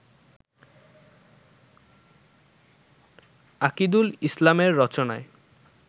আকিদুল ইসলামের রচনায়